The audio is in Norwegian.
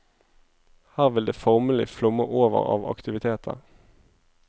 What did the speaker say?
Her vil det formelig flomme over av aktiviteter.